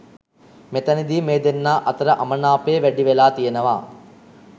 මෙතැනදී මේ දෙන්නා අතර අමනාපය වැඩි වෙලා තියනවා.